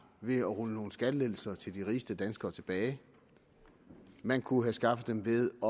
ved at rulle nogle skattelettelser til de rigeste danskere tilbage man kunne have skaffet dem ved at